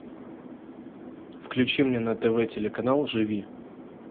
включи мне на тв телеканал живи